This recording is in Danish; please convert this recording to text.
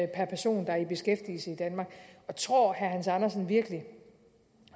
per person der er i beskæftigelse i danmark og tror herre hans andersen virkelig